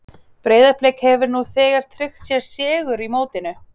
Breiðablik hefur nú þegar tryggt sér sigur í mótinu.